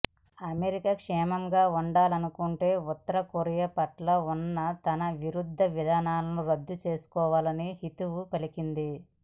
America క్షేమంగా ఉండాలనుకుంటే ఉత్తర కొరియా పట్ల ఉన్న తన విరుద్ధ విధానాలకు రద్దు చేసుకోవాలని హితవు పలికింది